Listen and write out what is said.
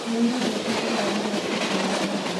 Niĩ nyendete gũthoma mabuku ma ng'ano.